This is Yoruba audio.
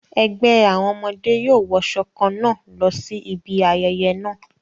Ẹgbẹ́ àwọn ọmọdé yóò wọṣọ kan náà lọ sí ibi ayẹyẹ náà.